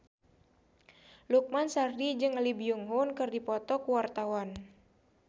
Lukman Sardi jeung Lee Byung Hun keur dipoto ku wartawan